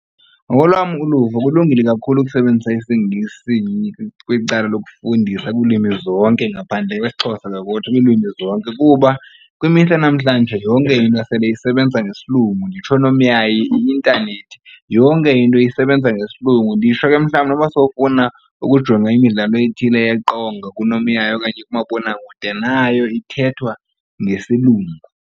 Ngokolwam uluvo kulungile kakhulu ukusebenzisa isiNgesi kweli cala lokufundisa kulwimi zonke ngaphandle kwesiXhosa kwiilwimi zonke kuba kwimihla yanamhlanje yonke into sele isebenza ngesiLungu nditsho oonomyayi, i-intanethi. Yonke into isebenza ngesiLungu nditsho ke mhlawumbi noba sowufuna ukujonga imidlalo ethile yeqonga kunomyayi okanye kumabonakude nayo ithethwa ngesiLungu.